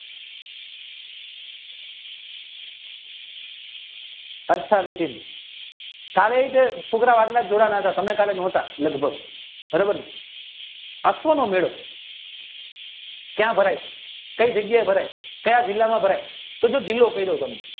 કારણકે છોકરાવ એટલા જોવાના હતા તમે કાલે નોતા ક્યાં ભરાય કાયયિ જગ્યા એ ભરાય કાયા જિલ્લામાં ભરાય કેડી જિલ્લોકાર્યો તમે